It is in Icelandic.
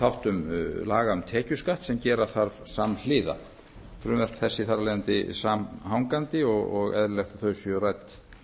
þáttum laga um tekjuskatt sem gera þarf samhliða frumvörp þessi eru þar af leiðandi samhangandi og eðlilegt að þau séu rædd